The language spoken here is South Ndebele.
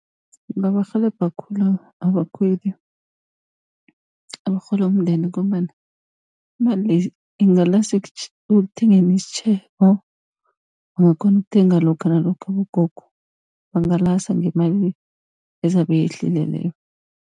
Ingabarhelebha khulu abakhweli abarhola umndende, ngombana imali le ingalasa ekuthengeni isitjhebo, bangakhona ukuthenga lokha nalokha abogogo, bangalasa ngemali ezabe yehlile leyo.